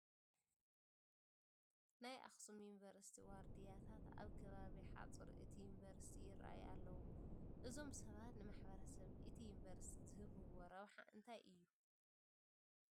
ናይ ኣኽሱም ዩኒቨርሲቲ ዋርድያታት ኣብ ከባቢ ሓፁር እቲ ዩኒቨርሲቲ ይርአዩ ኣለዉ፡፡ እዞም ሰባት ንማሕበረሰብ እቲ ዩኒቨርሲቲ ዝህብዎ ረብሓ እንታይ እዩ?